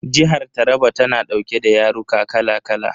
Jihar Taraba tana dauke da yaruka kala kala.